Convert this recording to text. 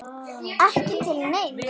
Ekki til neins?